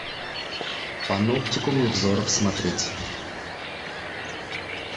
паноптикум невзоров смотреть